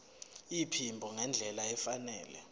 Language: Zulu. iphimbo ngendlela efanele